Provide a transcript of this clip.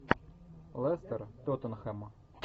лестер тоттенхэм